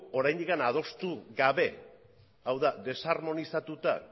oraindik adostu gabe hau da desarmonizatuta